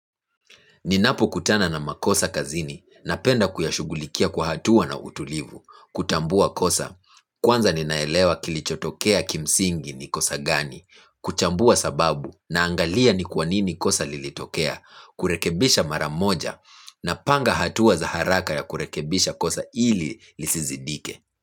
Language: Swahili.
Ninapo kutana na makosa kazini napenda kuyashughulikia kwa hatua na utulivu, kutambua kosa, kwanza ninaelewa kilichotokea kimsingi ni kosa gani, kuchambua sababu na angalia ni kwa nini kosa lilitokea, kurekebisha mara moja napanga hatua za haraka ya kurekebisha kosa ili lisizidike.